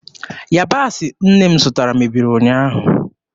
Yabasị nne m zụtara mebiri ụnyaahụ.